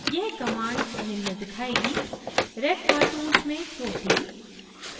यह command निम्न दिखाएगी: red cartoons में protein